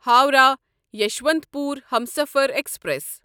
Howrah Yesvantpur Humsafar express